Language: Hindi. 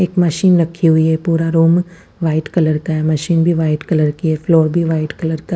एक मशीन रखी हुई है पूरा रूम व्हाइट कलर का है मशीन भी वाइट कलर कि है फ्लोर भी वाइट कलर का--